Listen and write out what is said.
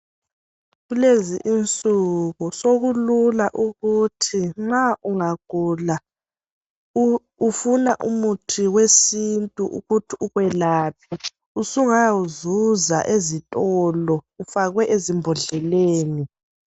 Kulezi insuku sokulula ukuthi nxa ungagula ufuna umuthi wesintun ukuthi ukwelapha usungayawuzuza ezitolo Ufakwe ezimbodleleni.